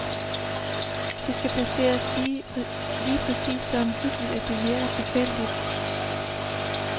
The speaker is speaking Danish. Det skal placeres lige præcist så omhyggeligt, at det virker tilfældigt.